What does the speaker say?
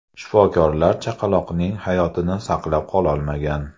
Shifokorlar chaqaloqning hayotini saqlab qololmagan.